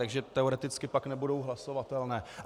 Takže teoreticky pak nebudou hlasovatelné.